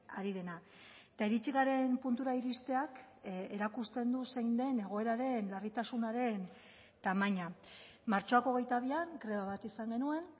ari dena eta iritsi garen puntura iristeak erakusten du zein den egoeraren larritasunaren tamaina martxoak hogeita bian greba bat izan genuen